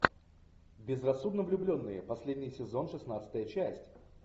безрассудно влюбленные последний сезон шестнадцатая часть